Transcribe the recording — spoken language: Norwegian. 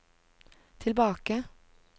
tilbake